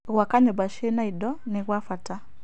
Gwaka nyũmba cina indo nĩ gwa bata.